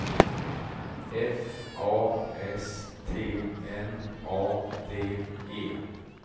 F A S T N A D E